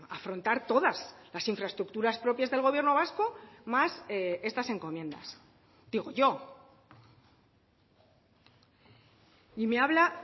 afrontar todas las infraestructuras propias del gobierno vasco más estas encomiendas digo yo y me habla